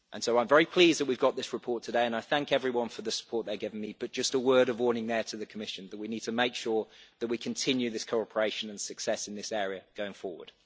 I'm very pleased that we've got this report today and I thank everyone for the support they gave me, but just a word of warning there to the Commission that we need to make sure that we continue this cooperation and success in this area going forward.